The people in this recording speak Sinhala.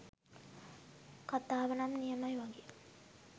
කතාවනම් නියමයි වගේ